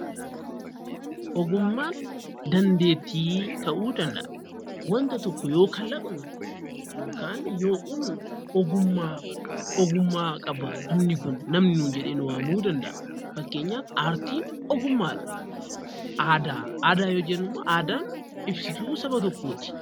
Ogummaan dandeettii ta'uu danda'a. Wanta tokko yoo kalaqnu yookaan yoo uumnu ogummaa ogummaa qabaa namni kun namni nuun jedhee nu waamuu danda'a. Fakkeenyaaf aartiin ogummaadha. Aadaa, aadaa yoo jennummoo aadaan ibsituu saba tokkooti.